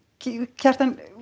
Kjartan